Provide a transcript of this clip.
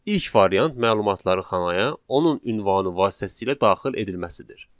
İlk variant məlumatları xanaya, onun ünvanı vasitəsilə daxil edilməsidir.